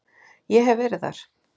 Ég hef verið þar.